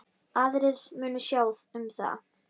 Aðrir munu sjá um það.